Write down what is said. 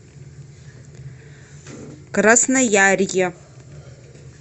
красноярье